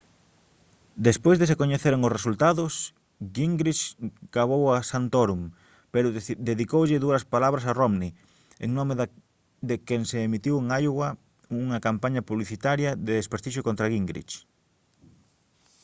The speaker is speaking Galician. despois de se coñeceren os resultados gingrich gabou a santorum pero dedicoulle duras palabras a romney en nome de quen se emitiu en iowa unha campaña publicitaria de desprestixio contra gingrich